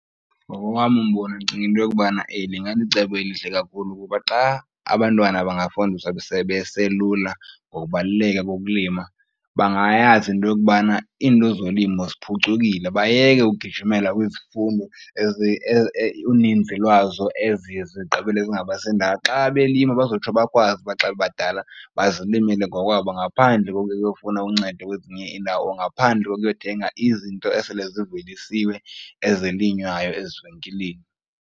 Ngokowam umbono ndicinga into yokubana eli ingalicebo elihle kakhulu kuba xa abantwana bangafundiswa sebeselula ngokubaluleka kokulima bangayazi into yokubana iinto zolimo ziphucukile bayeke ugijimela kwizifundo uninzi lwazo eziye zigqibele zingabasi ndawo. Xa belima bazotsho bakwazi uba xa bebadala bazilimele ngokwabo ngaphandle kokuya uyofuna uncedo kwezinye iindawo or ngaphandle kokuyothenga izinto esele zivelisiwe ezilinywayo ezivenkileni.